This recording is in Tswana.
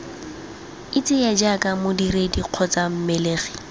itseye jaaka modiredi kgotsa mmelegi